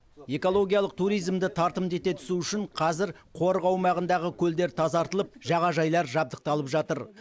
экологиялық туризмді тартымды ете түсу үшін қазір қорық аумағындағы көлдер тазартылып жағажайлар жабдықталып жатыр